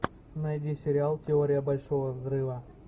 найди сериал теория большого взрыва